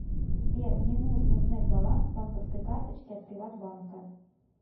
сбер мне нужно узнать баланс банковской карточки от приват банка